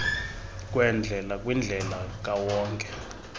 kweendlela kwindlela kawonke